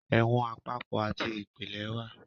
ẹ̀wọ̀n àpapọ àti ìpìlẹ wà.